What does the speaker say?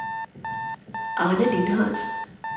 Arne Lindhardt